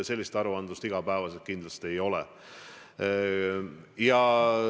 Sellist igapäevast aruandlust kindlasti ei ole.